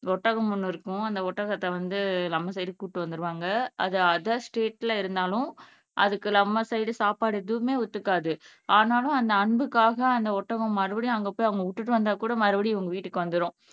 ஒட்டகம் ஒன்னு இருக்கும் அந்த ஒட்டகத்தை வந்து நம்ம சைடு கூப்பிட்டுட்டு வந்துருவாங்க அது அதர் ஸ்டேட்ல இருந்தாலும் அதுக்கு நம்ம சைடு சாப்பாடு எதுவுமே ஒத்துக்காது ஆனாலும் அந்த அன்புக்காக அந்த ஒட்டகம் மறுபடியும் அங்க போய் அங்க விட்டுட்டு வந்தாக்கூட மறுபடியும் அவங்க வீட்டுக்கு வந்துரும்